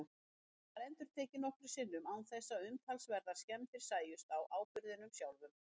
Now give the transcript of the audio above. Þetta var endurtekið nokkrum sinnum án þess að umtalsverðar skemmdir sæjust á áburðinum sjálfum.